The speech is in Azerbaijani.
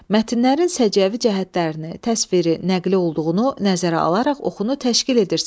Mətnlərin səciyyəvi cəhətlərini, təsviri, nəqli olduğunu nəzərə alaraq oxunu təşkil edirsən.